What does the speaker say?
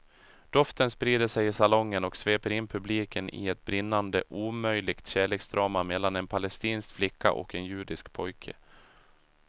Doften sprider sig i salongen och sveper in publiken i ett brinnande omöjligt kärleksdrama mellan en palestinsk flicka och en judisk pojke.